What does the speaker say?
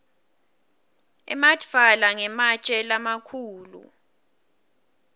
emadvwala ngematje lamakhulu